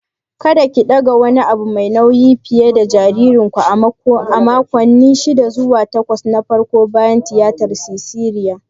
Kada ki ɗaga wani abu mai nauyi fiye dana jaririnku a makonni shida zuwa takwas na farko bayan tiyatar siserian!